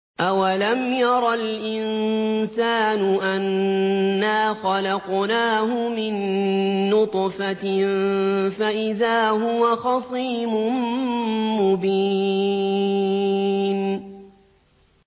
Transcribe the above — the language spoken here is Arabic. أَوَلَمْ يَرَ الْإِنسَانُ أَنَّا خَلَقْنَاهُ مِن نُّطْفَةٍ فَإِذَا هُوَ خَصِيمٌ مُّبِينٌ